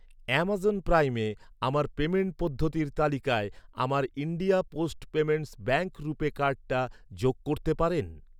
Amazon প্রাইমে আমার payment পদ্ধতির তালিকায় আমার India post payments bank RuPay কার্ডটা যোগ করতে পারেন?